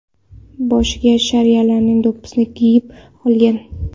Boshiga shialarning do‘ppisini kiyib olgan.